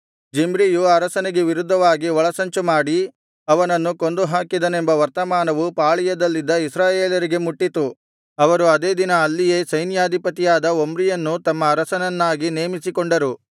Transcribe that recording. ಜಿಮ್ರಿಯು ಅರಸನಿಗೆ ವಿರುದ್ಧವಾಗಿ ಒಳಸಂಚು ಮಾಡಿ ಅವನನ್ನು ಕೊಂದುಹಾಕಿದನೆಂಬ ವರ್ತಮಾನವು ಪಾಳೆಯದಲ್ಲಿದ್ದ ಇಸ್ರಾಯೇಲರಿಗೆ ಮುಟ್ಟಿತು ಅವರು ಅದೇ ದಿನ ಅಲ್ಲಿಯೇ ಸೈನ್ಯಾಧಿಪತಿಯಾದ ಒಮ್ರಿಯನ್ನು ತಮ್ಮ ಅರಸನನ್ನಾಗಿ ನೇಮಿಸಿಕೊಂಡರು